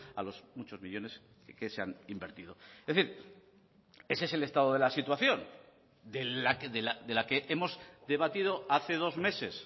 a los muchos millónes que se han invertido es decir ese es el estado de la situación de la que hemos debatido hace dos meses